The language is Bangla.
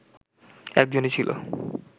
একজনই ছিল